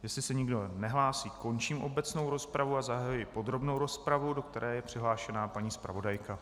Jestli se nikdo nehlásí, končím obecnou rozpravu a zahajuji podrobnou rozpravu, do které je přihlášena paní zpravodajka.